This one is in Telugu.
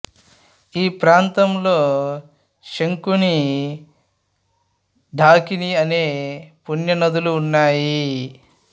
ఈ ప్రాంతంలో శంకిని ఢాకిని అనే పుణ్య నదులు ఉన్నాయి